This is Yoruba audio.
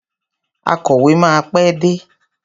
Akọ̀wé máa pé dé.